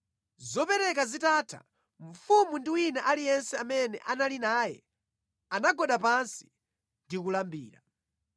Zopereka zitatha, mfumu ndi wina aliyense amene anali naye anagwada pansi ndi kulambira.